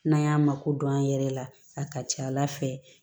N'an y'a mako don an yɛrɛ la a ka ca ala fɛ